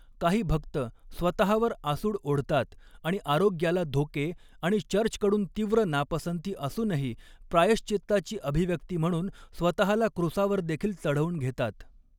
काही भक्त स्वतहावर आसूड ओढतात आणि आरोग्याला धोके आणि चर्चकडून तीव्र नापसंती असूनही प्रायश्चित्ताची अभिव्यक्ती म्हणून स्वतहाला क्रूसावरदेखील चढवून घेतात.